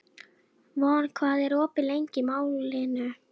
Von, hvað er opið lengi í Málinu?